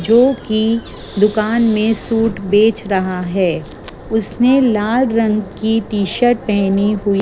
जोकि दुकान में सूट बेच रहा है उसने लाल रंग की टी शर्ट पहनी हुई--